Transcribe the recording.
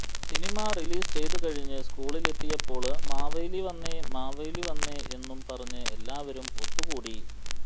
cinema release ചെയ്തുകഴിഞ്ഞ് സ്കൂളിലെത്തിയപ്പോള് മാവേലി വന്നേ മാവേലി വന്നേ എന്നും പറഞ്ഞ് എല്ലാവരും ഒത്തുകൂടി